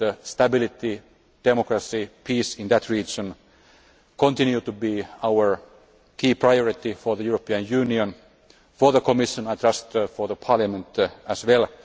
Stability, democracy and peace in that region continue to be a key priority for the European Union, for the Commission and, I trust, for Parliament as well.